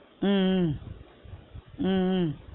உம் உம் உம் உம்